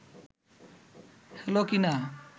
হলো কিনা